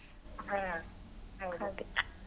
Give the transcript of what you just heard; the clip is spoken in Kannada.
ಹ್ಮ್ ಹೌದು.